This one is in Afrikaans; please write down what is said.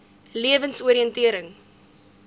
lewensoriëntering